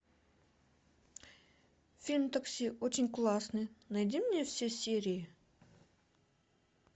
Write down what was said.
фильм такси очень классный найди мне все серии